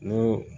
N ko